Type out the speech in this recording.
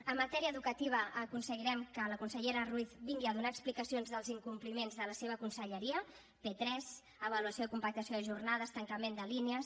en matèria educativa aconseguirem que la consellera ruiz vingui a donar explicacions dels incompliments de la seva conselleria p3 avaluació i compactació de jornades tancament de línies